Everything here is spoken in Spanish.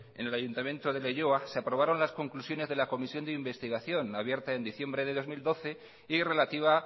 en el ayuntamiento de leioa se aprobaron las conclusiones de la comisión de investigación abierta en diciembre del dos mil doce y relativa